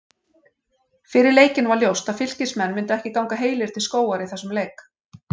Fyrir leikinn var ljóst að Fylkismenn myndu ekki ganga heilir til skógar í þessum leik.